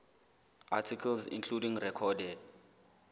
articles including recorded